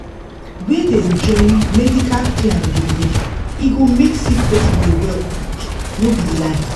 where dem join medical care and belief e go make sick person dey well quick no be lie.